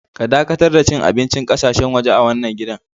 Ka dakatar da cin abincin ƙasashen waje a wanan gidan.